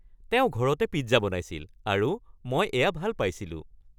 তেওঁ ঘৰতে পিজ্জা বনাইছিল আৰু মই এয়া ভাল পাইছিলোঁ